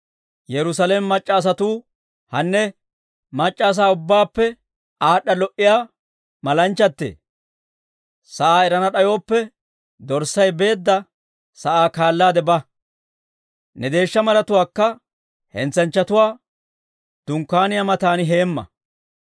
Hanne, mac'c'a asaa ubbaappe aad'd'a lo"iyaa malanchchatee! Sa'aa erana d'ayooppe, dorssay beedda sa'aa kaalaade ba; ne deeshsha maratuwaakka hentsanchchatuwaa dunkkaaniyaa matan heemma.